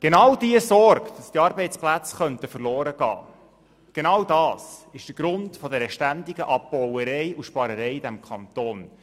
Genau die Sorge, dass die Arbeitsplätze verloren gehen könnten, ist der Grund für die ständige «Abbauerei» und «Sparerei» in diesem Kanton.